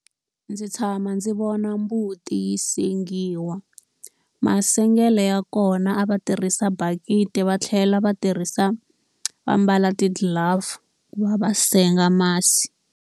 Ndzi tshama ndzi vona mbuti yi sengiwa. Masengelo ya kona a va tirhisa bakiti va tlhela va tirhisa va mbala ti-glove ku va va senga masi.